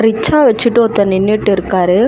Rickshaw வச்சுட்டு ஒருத்தர் நின்னுட்டு இருக்காரு.